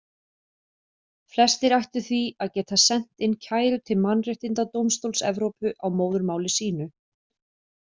Flestir ættu því að geta sent inn kæru til Mannréttindadómstóls Evrópu á móðurmáli sínu.